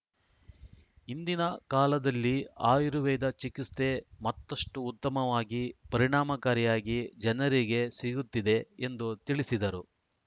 ಇಂದಿನ ಕಾಲದಲ್ಲಿ ಆಯುರ್ವೇದ ಚಿಕಿಸ್ತೆ ಮತ್ತಷ್ಟುಉತ್ತಮವಾಗಿ ಪರಿಣಾಮಕಾರಿಯಾಗಿ ಜನರಿಗೆ ಸಿಗುತ್ತಿದೆ ಎಂದು ತಿಳಿಸಿದರು